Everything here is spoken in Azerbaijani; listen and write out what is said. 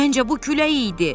Məncə bu külək idi.